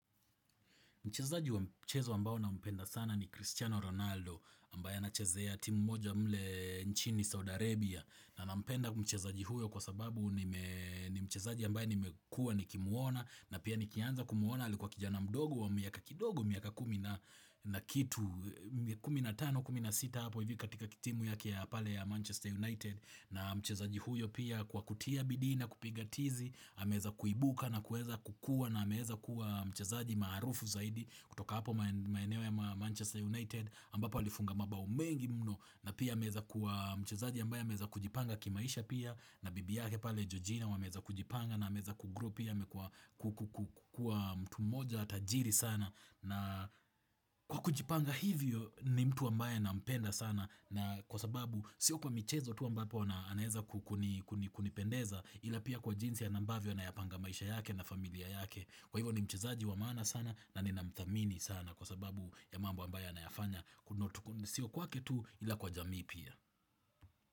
Mchezaji wa mchezo ambao na mpenda sana ni Cristiano Ronaldo ambaye anachezea timu moja mle nchini Saudi Arabia na nampenda mchezaji huyo kwa sababu ni mchezaji ambaye nimekua nikimuona na pia nikianza kumuona alikua kijana mdogo wa miaka kidogo miaka kumi na na kitu 15-16 hapo hivi katika timu yake pale ya Manchester United na mchezaji huyo pia kwa kutia bidii na kupiga tizi ameweza kuibuka na kueza kukua na ameweza kuwa mchezaji maarufu zaidi. Kutoka hapo maeneo ya Manchester United ambapo alifunga mabao mengi mno na pia ameweza kuwa mchezaji ambaye ameweza kujipanga kimaisha pia na bibi yake pale Georgina wameweza kujipanga na ameweza ku grow pia amekua kukua mtu mmoja tajiri sana na kwa kujipanga hivyo ni mtu ambaye nampenda sana na kwa sababu sio kwa michezo tu ambapo anaeza kunipendeza ila pia kwa jinsi ambavyo anapanga maisha yake na familia yake kwa hivyo ni mchezaji wa maana sana na nina mthamini sana kwa sababu ya mambo ambayo anayafanya sio kwake tu ila kwa jamii pia.